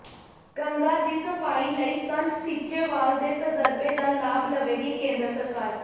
ਗੰਗਾ ਦੀ ਸਫ਼ਾਈ ਲਈ ਸੰਤ ਸੀਚੇਵਾਲ ਦੇ ਤਜਰਬੇ ਦਾ ਲਾਭ ਲਵੇਗੀ ਕੇਂਦਰ ਸਰਕਾਰ